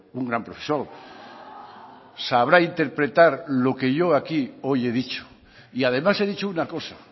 un gran profesor sabrá interpretar lo que yo aquí hoy he dicho y además he dicho una cosa